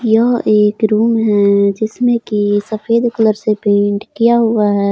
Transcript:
यह एक रूम है जिसमें की सफेद कलर से पेंट किया हुआ है।